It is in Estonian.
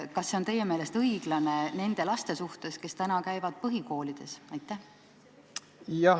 Kas see on teie meelest õiglane nende laste suhtes, kes praegu käivad põhikoolis?